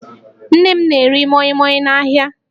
Nne m na-ere mọịmọị n'ahịa